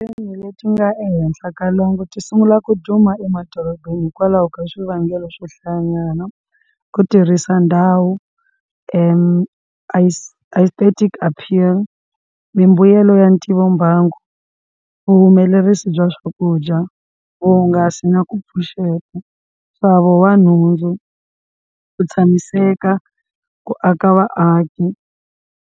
leti nga ehenhla ka lwangu ti sungula ku duma emadorobeni hikwalaho ka swivangelo swohlayanyana ku tirhisa ndhawu aesthetic apeal mimbuyelo ya ntivombangu vuhumelerisi bya swakudya vuhungasi na ku pfuxeta nxavo wa nhundzu, ku tshamiseka, ku aka vaaki.